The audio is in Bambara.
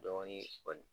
Dɔɔnin kɔni